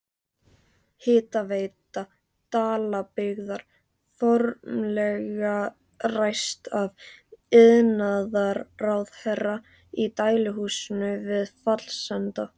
Hitaveita Dalabyggðar formlega ræst af iðnaðarráðherra í dæluhúsinu við Fellsenda.